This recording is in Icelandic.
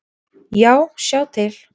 Já, sjá til!